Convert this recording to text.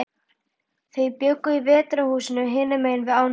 Þau bjuggu í Veturhúsum, hinum megin við ána.